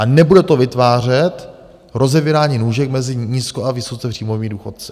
A nebude to vytvářet rozevírání nůžek mezi nízko- a vysoce příjmovými důchodci.